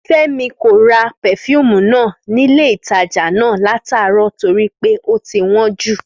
Fẹ́mi kò ra pefúùmù náà nílé ìtajà náà láàárọ̀ torí pé ó ti wọ́n jù